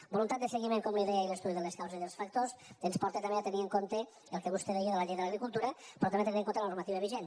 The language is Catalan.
voluntat de seguiment com li deia i l’estudi de les causes i dels factors ens porta també a tenir en compte el que vostè deia de la llei de l’agricultura però també a tenir en compte la normativa vigent